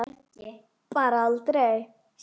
Bara aldrei.